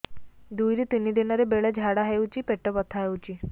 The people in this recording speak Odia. ଦୁଇରୁ ତିନି ଦିନରେ ବେଳେ ଝାଡ଼ା ହେଉଛି ପେଟ ବଥା ହେଉଛି